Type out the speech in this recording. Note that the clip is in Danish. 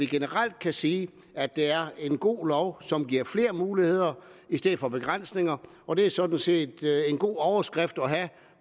generelt kan sige at det er en god lov som giver flere muligheder i stedet for begrænsninger og det er sådan set en god overskrift at have